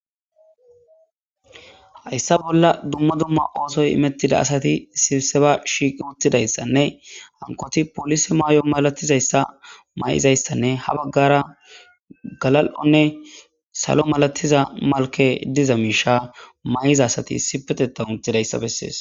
Hysa bolla dumma dumma osoyi imetida asati sipseba shiiqi utidaysanne hakoti polise mayo malatizaysa ha bagara galalonne salo malatiza mayo malkey diza misha